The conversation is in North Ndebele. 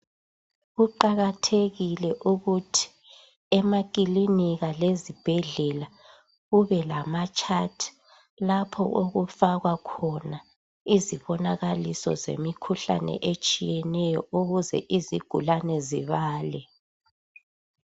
Kuqakathekile ukuthi emakilinika lezibhedlela kube lamachat lapho okufakwa khona izibonakaliso zemikhuhlane etshiyeneyo ukuze izigulane zibale